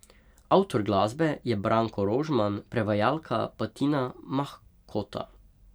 Avtor glasbe je Branko Rožman, prevajalka pa Tina Mahkota.